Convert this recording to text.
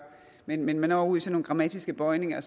men man når ud i sådan nogle grammatiske bøjninger